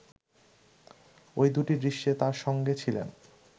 ওই দুটি দৃশ্যে তার সঙ্গে ছিলেন